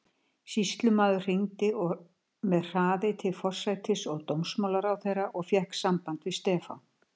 Sýslumaður hringdi með hraði til forsætis- og dómsmálaráðherra og fékk samband við Stefán